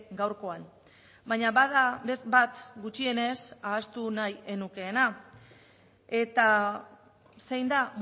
gaurkoan baina bada bat gutxienez ahaztu nahi ez nukeena eta zein da